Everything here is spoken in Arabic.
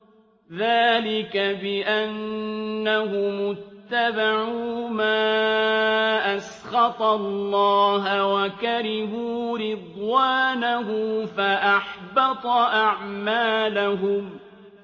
ذَٰلِكَ بِأَنَّهُمُ اتَّبَعُوا مَا أَسْخَطَ اللَّهَ وَكَرِهُوا رِضْوَانَهُ فَأَحْبَطَ أَعْمَالَهُمْ